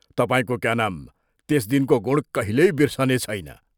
तपाईंको क्या नाम त्यस दिनको गुण कहिल्यै बिर्सनेछैन।